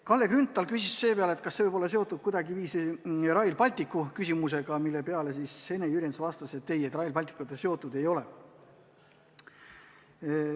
Kalle Grünthal küsis selle peale, kas see pole seotud kuidagiviisi Rail Balticu küsimusega, mille peale Ene Jürjens vastas, et Rail Balticuga see seotud ei ole.